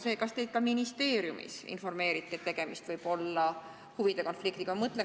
Kas teid ka ministeeriumis informeeriti, et tegemist võib olla huvide konfliktiga?